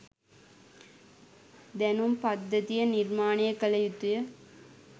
දැනුම් පද්ධතිය නිර්මාණය කල යුතුය